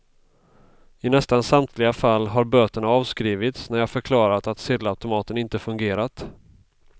I nästan samtliga fall har böterna avskrivits när jag förklarat att sedelautomaten inte fungerat.